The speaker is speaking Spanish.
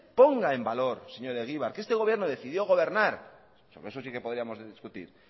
ponga en valor señor egibar que este gobierno decidió gobernar sobre eso sí que podríamos discutir